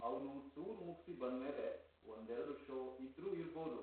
ಅವ್ನು ಟೂರ್ ಮುಗ್ಸಿ ಬಂದ್ಮೇಲೆ ಒಂದೆರ್ಡು ಷೋ ಇದ್ರೂ ಇರ್ಬೋದು.